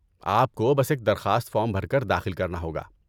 آپ کو بس ایک درخواست فارم بھر کر داخل کرنا ہوگا۔